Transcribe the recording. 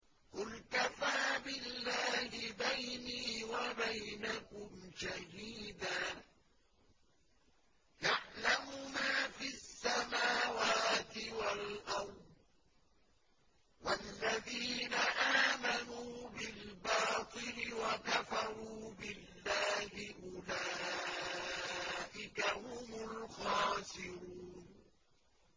قُلْ كَفَىٰ بِاللَّهِ بَيْنِي وَبَيْنَكُمْ شَهِيدًا ۖ يَعْلَمُ مَا فِي السَّمَاوَاتِ وَالْأَرْضِ ۗ وَالَّذِينَ آمَنُوا بِالْبَاطِلِ وَكَفَرُوا بِاللَّهِ أُولَٰئِكَ هُمُ الْخَاسِرُونَ